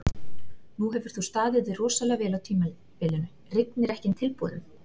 Nú hefur þú staðið þig rosalega vel á tímabilinu, rignir ekki inn tilboðum?